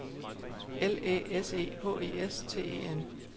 L Æ S E H E S T E N